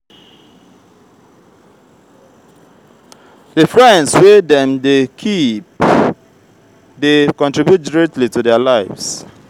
adolescent um fit get relationship um with family and peers some de get um romantic relationship